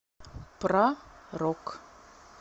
про рок